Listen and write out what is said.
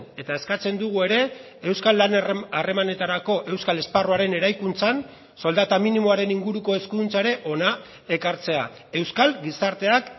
eta eskatzen dugu ere euskal lan harremanetarako euskal esparruaren eraikuntzan soldata minimoaren inguruko eskuduntza ere hona ekartzea euskal gizarteak